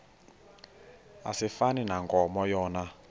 asifani nankomo yona